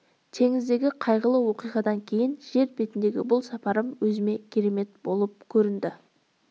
теңіздегі қайғылы оқиғадан кейін жер бетіндегі бұл сапарым өзіме керемет болып көрінді